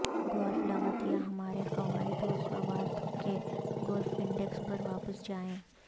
golf لغت یا ہمارے قواعد و ضوابط کے گولف انڈیکس پر واپس جائیں